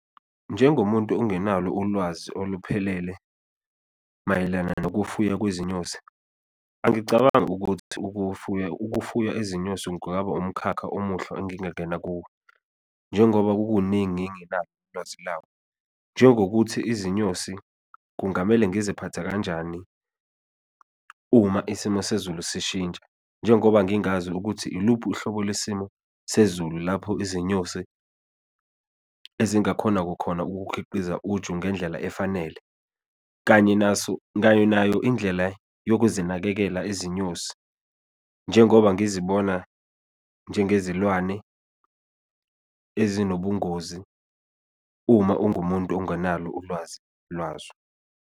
Njengomuntu ongenalo ulwazi oluphelele mayelana nokufuya kwezinyosi, angicabangi ukuthi ukufuya, ukufuya izinyosi kungaba umkhakha omuhle engingena kuwo, njengoba kukuningi engingenalo ulwazi lawo. Njengokuthi izinyosi kungamele ngiziphathe kanjani, uma isimo sezulu sishintsha, njengoba ngingazi ukuthi iluphi uhlobo lwesimo sezulu, lapho izinyosi ezingakhona kukhona ukukhiqiza uju ngendlela efanele, kanye naso, kanye nayo indlela yokuzinakekela izinyosi, njengoba ngizibona njengezilwane ezinobungozi uma ungumuntu ongenalo ulwazi lwazo.